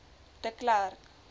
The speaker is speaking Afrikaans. de klerk